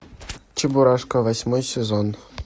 чебурашка восьмой сезон